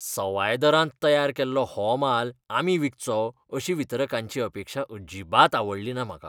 सवाय दरांत तयार केल्लो हो माल आमी विकचो अशी वितरकांची अपेक्षा अजिबात आवडलीना म्हाका.